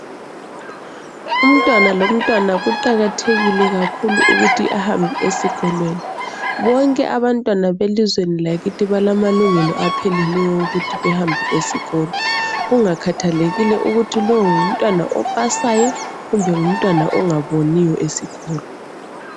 Umntwana lomntwana kuqakathekile kakhulu ukuthi ebambe esikolweni. Bonke abantwana belizweni lakithi balamalungelo apheleleyo okuthi behambe esikolo kungakhathalekile ukuthi lo ngumntwana opasayo kumbe ngumntwana ongaboniyo esikolo.